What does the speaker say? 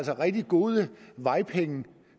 rigtig gode vejpenge